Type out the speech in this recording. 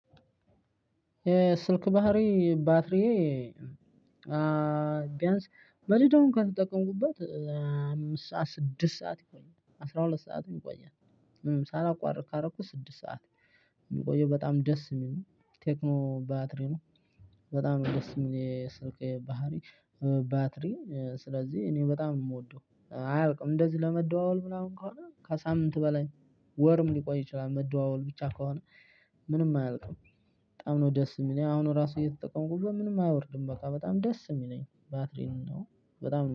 የስልክ ባህሪ ባትሪዬ ቢያንስ መደዳውን እንኳን ከተጠቀምኩበት አምስት ሰዓት ስድስት ሰዓት ይቆያል አስራ ሁለት ሰዓትም ይቆያል። ሳላቋርጥ ካረኩ ስድስት ሰዓት የሚቆየው በጣም ደስ የሚል ነው ቴክኖ ባትሪ ነው። በጣም ደስ የሚል የስልክ ባህሪ ባትሪ ስለዚህ እኔ በጣም የምወደው አያልቅም እንደዚህ ለመደዋወል ምናምን ከሆነ ከሳምንት በላይ ወርም ሊቆይ ይችላል። መደዋወል ብቻ ከሆነ ምንም አያልቅም። በጣም ነው ደስ የሚለኝ አሁን ራሱ እየተጠቀምኩ ምንም አይወርድም በቃ በጣም ደስ የሚለኝ ባትሪ ነው። በጣም